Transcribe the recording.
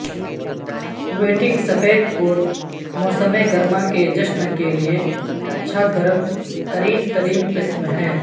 wedding سفید coat موسم گرما کے جشن کے لئے اچھا گرم ترین ترین قسم ہے